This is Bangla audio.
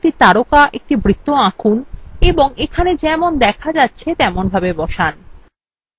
একটি বর্গাকার একটি তারকা একটি বৃত্ত আঁকুন এবং এখানে যেমন দেখা যাচ্ছে তেমনভাবে বসান